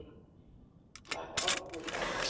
Sagði Árni Þór.